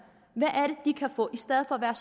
og hvad